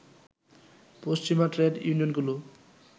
পশ্চিমা ট্রেড ইউনিয়নগুলো